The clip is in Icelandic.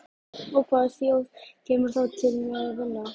Og hvaða þjóð kemur þá til með að vinna?